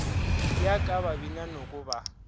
ya ka babina noko ba